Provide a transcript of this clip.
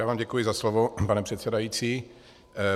Já vám děkuji za slovo, pane předsedající.